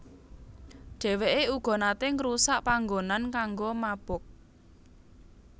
Dheweke uga nate ngrusak panggonan kanggo mabok